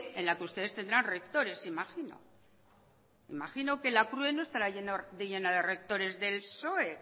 en la que ustedes tendrán rectores imagino imagino que la crue no estará llena de rectores del psoe